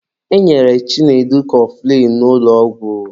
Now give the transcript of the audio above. E nyere Chinedu kọfụlịn n'ụlọ ọgwụ.